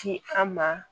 Ci an ma